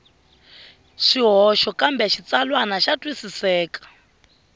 swihoxo kambe xitsalwana xa twisiseka